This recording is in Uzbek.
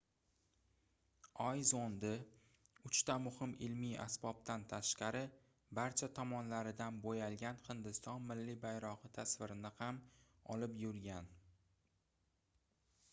oy zondi uchta muhim ilmiy asbobdan tashqari barcha tomonlaridan boʻyalgan hindiston milliy bayrogʻi tasvirini ham olib yurgan